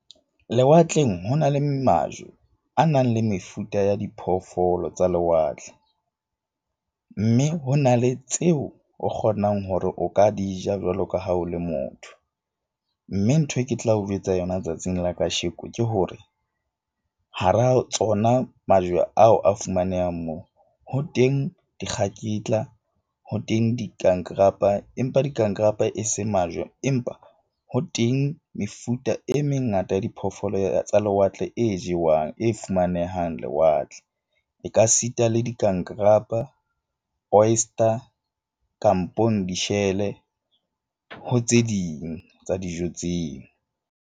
Lewatleng, ho na le majwe a nang le mefuta ya diphoofolo tsa lewatle. Mme ho na le tseo o kgonang hore o ka di ja jwalo ka ha o le motho. Mme ntho e ke tla o jwetsa yona tsatsing la kasheko ke hore hara tsona majwe ao a fumanehang moo. Ho teng dikgaketla ho teng dikankarapa, empa dikankarapa e se majwe, empa ho teng mefuta e mengata ya diphoofolo tsa lewatle e jewang e fumanehang lewatle. E ka sita le dikankarapa, oyster kampong dishele ho tse ding tsa dijo tseo.